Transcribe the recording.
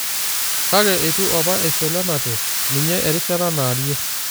Kake eitu apa eisho Lenante ninye eriishata naarie.